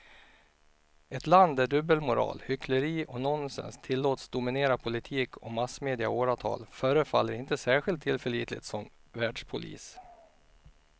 Ett land där dubbelmoral, hyckleri och nonsens tillåts dominera politik och massmedia i åratal förefaller inte särskilt tillförlitligt som världspolis.